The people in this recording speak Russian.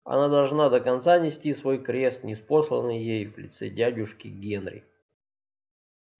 она должна до конца нести свой крест ниспосланный ей в лице дядюшки генри